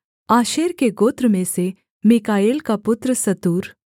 आशेर के गोत्र में से मीकाएल का पुत्र सतूर